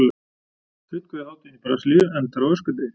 Kjötkveðjuhátíðin í Brasilíu endar á öskudegi.